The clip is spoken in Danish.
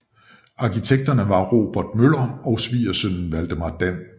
Arkitekterne var Rogert Møller og svigersønnen Valdemar Dan